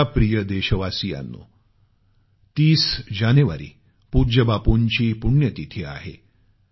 माझ्या प्रिय देशवासियांनो 30 जानेवारी पूज्य बापूंची पुण्यतिथी आहे